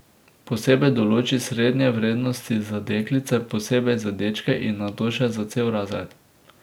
Posebej določi srednje vrednosti za deklice, posebej za dečke in nato še za cel razred.